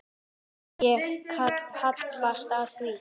Ég hallast að því.